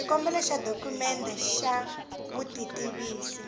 xikombelo xa dokumende ya vutitivisi